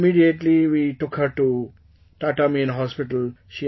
Immediately we took her to Tata main hospital